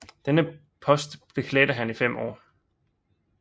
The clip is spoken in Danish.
Denne post beklædte han i fem år